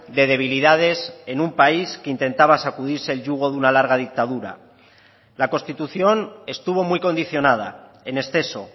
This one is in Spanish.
de debilidades en un país que intentaba sacudirse el yugo de una larga dictadura la constitución estuvo muy condicionada en exceso